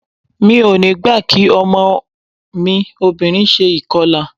Mi ò ní gbà kí ọmọ mi obìnrin ṣe ìkọlà.